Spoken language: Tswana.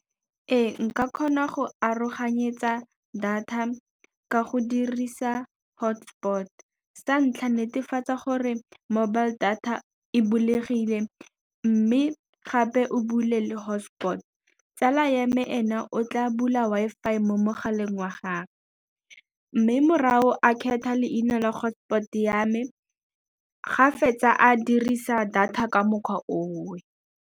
Ee, nka kgona go aroganyetsa data ka go dirisa hotspot. Sa ntlha netefatsa gore mobile data e bulegile mme gape o bule le hotspot, tsala ya me ena o tla bula Wi-Fi mo mogaleng wa gagwe mme morago a kgetha leina la hotspot ya me ga fetsa a dirisa data ka mokgwa oo.